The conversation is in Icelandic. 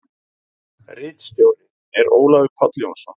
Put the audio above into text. Ritstjóri er Ólafur Páll Jónsson.